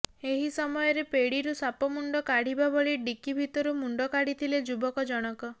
ଏହି ସମୟରେ ପେଡ଼ିରୁ ସାପ ମୁଣ୍ଡ କାଢ଼ିବା ଭଳି ଡିକି ଭିତରୁ ମୁଣ୍ଡ କାଢ଼ିଥିଲେ ଯୁବକ ଜଣକ